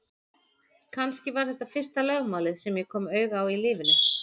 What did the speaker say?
Kannski var þetta fyrsta lögmálið sem ég kom auga á í lífinu.